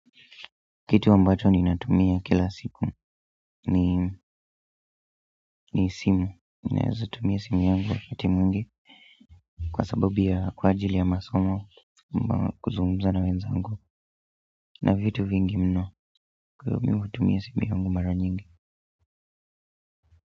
Kitu ambacho ninatumia kila siku ni simu ninaweza tumia simu yangu wakati mwingi kwa sababu ya kwa ajili ya masoma ama kuzungumza na wenzangu na vitu vingi mno kwa hiyo mimi hutumia simu yangu mara nyingi.